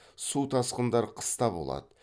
су тасқындар қыста болады